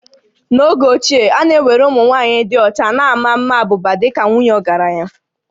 N'oge ochie, a na-ewere ụmụ nwaanyị dị ọcha na ma maa abụba dị ka nwunye ndị ọgaranya